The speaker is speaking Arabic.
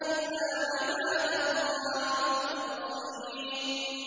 إِلَّا عِبَادَ اللَّهِ الْمُخْلَصِينَ